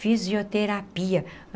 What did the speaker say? Fisioterapia.